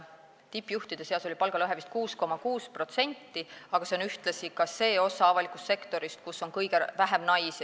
Tippjuhtide seas oli palgalõhe vist 6,6%, aga see on ühtlasi ka see osa avalikust sektorist, kus on kõige vähem naisi.